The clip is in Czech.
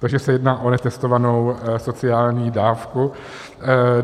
Takže se jedná o netestovanou sociální dávku.